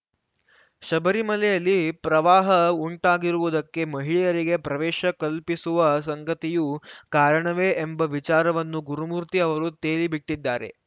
ಶಬರಿಮಲೆಯಲ್ಲಿ ಪ್ರವಾಹ ಉಂಟಾಗಿರುವುದಕ್ಕೆ ಮಹಿಳೆಯರಿಗೆ ಪ್ರವೇಶ ಕಲ್ಪಿಸುವ ಸಂಗತಿಯೂ ಕಾರಣವೇ ಎಂಬ ವಿಚಾರವನ್ನು ಗುರುಮೂರ್ತಿ ಅವರು ತೇಲಿ ಬಿಟ್ಟಿದ್ದಾರೆ